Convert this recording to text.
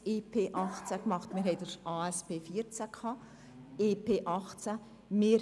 Es gab die Angebots- und Strukturprüfung 2014 (ASP 2014), und dann das EP 2018.